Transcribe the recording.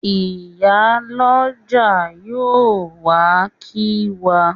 Ìyálọ́jà yóò wá kí wa.